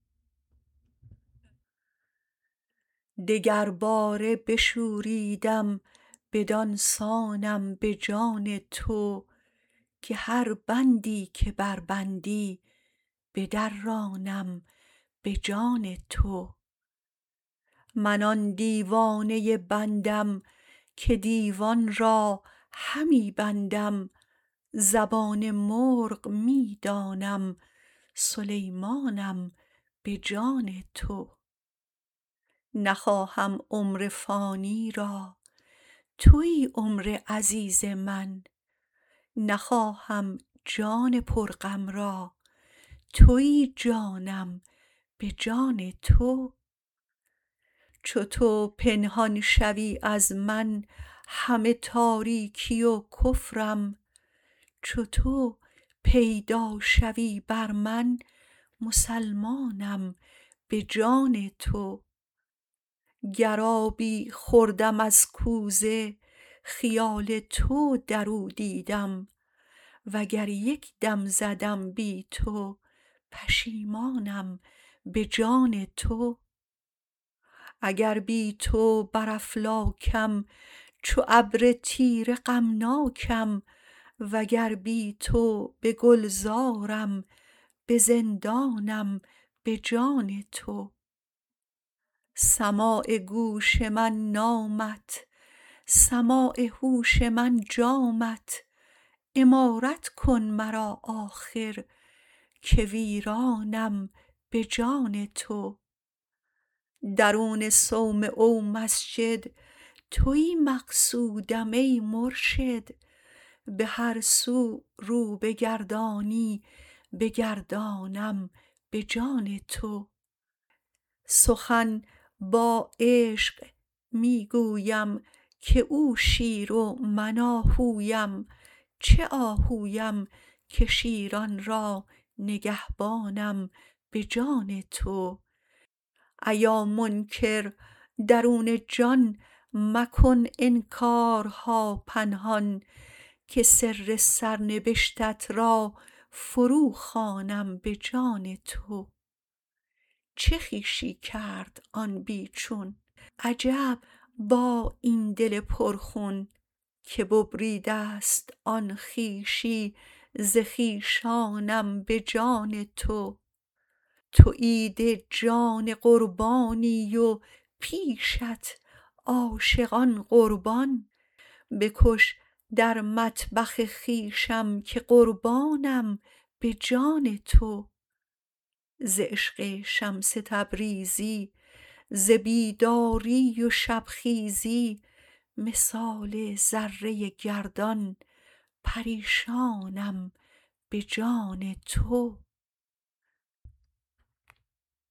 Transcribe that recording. دگرباره بشوریدم بدان سانم به جان تو که هر بندی که بربندی بدرانم به جان تو من آن دیوانه بندم که دیوان را همی بندم زبان مرغ می دانم سلیمانم به جان تو نخواهم عمر فانی را توی عمر عزیز من نخواهم جان پرغم را توی جانم به جان تو چو تو پنهان شوی از من همه تاریکی و کفرم چو تو پیدا شوی بر من مسلمانم به جان تو گر آبی خوردم از کوزه خیال تو در او دیدم وگر یک دم زدم بی تو پشیمانم به جان تو اگر بی تو بر افلاکم چو ابر تیره غمناکم وگر بی تو به گلزارم به زندانم به جان تو سماع گوش من نامت سماع هوش من جامت عمارت کن مرا آخر که ویرانم به جان تو درون صومعه و مسجد توی مقصودم ای مرشد به هر سو رو بگردانی بگردانم به جان تو سخن با عشق می گویم که او شیر و من آهویم چه آهویم که شیران را نگهبانم به جان تو ایا منکر درون جان مکن انکارها پنهان که سر سرنبشتت را فروخوانم به جان تو چه خویشی کرد آن بی چون عجب با این دل پرخون که ببریده ست آن خویشی ز خویشانم به جان تو تو عید جان قربانی و پیشت عاشقان قربان بکش در مطبخ خویشم که قربانم به جان تو ز عشق شمس تبریزی ز بیداری و شبخیزی مثال ذره گردان پریشانم به جان تو